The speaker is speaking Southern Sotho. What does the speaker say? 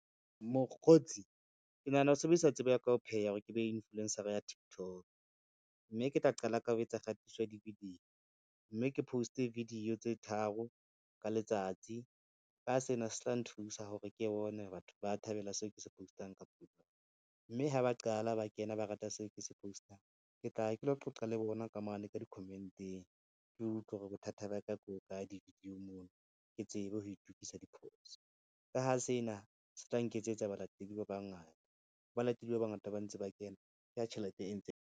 Mokgotsi, ke nahana ho sebedisa tsebo ya ka ya ho pheha hore ke be influencer-a ya Tiktok, mme ke tla qala ka ho etsa kgatiswa di-video, mme ke post-e video tse tharo ka letsatsi ka sena se tla nthusa hore ke bone batho ba thabela seo ke se post-ang kapa , mme ha ba qala ba kena ba rata seo ke se postang, ke tla ya ke lo qoqa le bona ka mane ka di-comment-eng ke utlwe hore bothata ba ka bo hokae di-video-ng moo ke tsebe ho itukisa diphoso. Ka ho sena se tla nketsetsa balatedi ba bangata, ha balatedi ba bangata ba ntse ba kena ke ha tjhelete e ntseng.